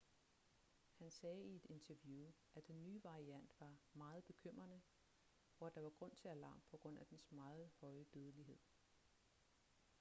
han sagde i et interview at den nye variant var meget bekymrende og at der var grund til alarm på grund af dens meget høje dødelighed